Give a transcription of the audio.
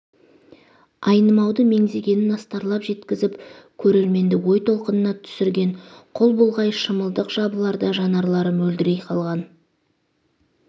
айнымауды меңзегенін астарлап жеткізіп көрерменді ой толқынына түсірген қол бұлғай шымылдық жабыларда жанарлары мөлдірей қалған